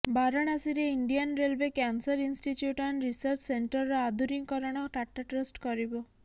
ବାରଣାସୀରେ Indian railway cancer institute and research ସେଣ୍ଟରର ଆଧୁନିକୀକରଣ Tata trust କରିବ